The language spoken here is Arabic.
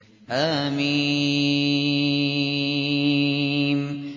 حم